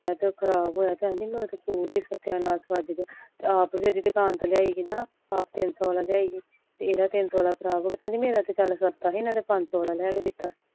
ਖਰਾਬ ਹੋਇਆ ਤੇ ਤੇਕੇਹਂਦੀ ਸਤਿਆ ਨਾਸ ਵਾਜ ਗਿਆ ਅੱਪ ਦੇਖ ਜਿਹੜੇ ਦੁਕਾਨ ਤੋਂ ਲਿਆਈ ਸੀ ਨਾ ਅਪਤਿਨਸੂ ਦਾ ਲਿਆਈ ਏ ਤੇ ਏਨੀ ਮੇਰਾ ਤਾ ਚਾਲ ਸਸਤਾ ਸੀ ਮੈਂ ਤੇ ਪਜਸ਼ੂ ਵਾਲਾ ਲੈ ਕੇ ਦਿੱਤੋ ਸੀ